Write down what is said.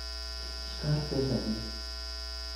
skar pesadi?